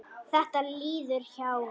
Þetta líður hjá.